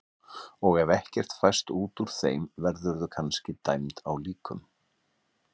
Og ef ekkert fæst út úr þeim verðurðu kannski dæmd á líkum.